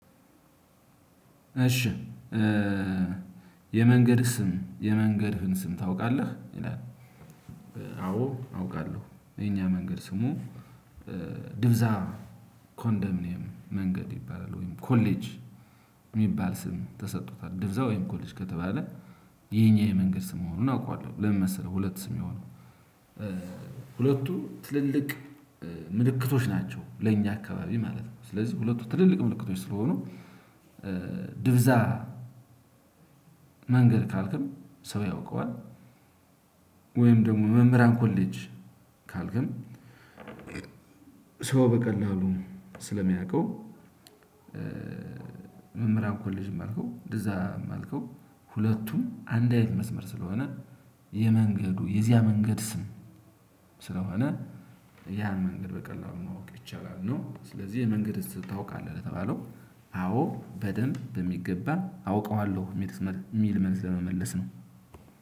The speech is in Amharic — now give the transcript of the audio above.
እሺ የመንገድ ስም የመንገድህን ስም ታውቃለህ? ይላል። አዎ አውቃለሁ የኛ መንገድ ስሙ። ድብዛ ኮንደምንም መንገድ ይባላል። ወይም ኮሌጅ የሚባል ስም ተሰጥቶታል። ድብዛ ወይም ኮሌጅ ከተባለ የኛ የመንገድ ስም መሆኑን አውቃለሁ። ለምን መሰለህ ሁለት ስም የሆነው። ሁለቱ ትልልቅ ምልክቶች ናቸው ለእኛ አካባቢ ማለት ነው። ስለዚህ ሁለቱ ትልልቅ ምልክቶች ስለሆኑ ድብዛ መንገድ ካልክም ሰው ያውቀዋል። ወይም ደግሞ መምህራን ኮሌጅ ካልክን ሰው በቀላሉ ስለሚያውቀው። መምህራን ኮሌጅም አልከው ድዛም አልከው ሁለቱም አንድ አይነት መስመር ስለሆነ የመንገዱ የዚያ መንገድ ስም ስለሆነ ያን መንገድ በቀላሉ ማወቅ ይቻላል ነው። ስለዚህ የመንገድስ ታውቃለህ? ለተባለው አዎ በደንብ በሚገባ አውቀዋለሁ። የሚል መልስ ለመመለስ ነው።